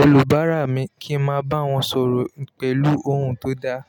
olùbárà mi, kí n máa bá wọn sọ̀rọ̀ pẹ̀lú ohùn tó dáa.